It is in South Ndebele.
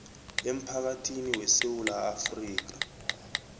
emphakathini wesewula afrika